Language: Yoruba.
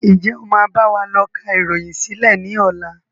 Ǹjẹ́ o máa báwa lọ ká ìròyìn sílẹ̀ ni ọ̀la?